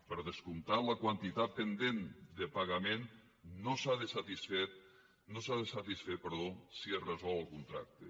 per descomptat la quantitat pendent de pagament no s’ha de satisfer si es resol el contracte